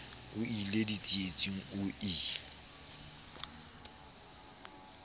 o ie ditsietsing o ie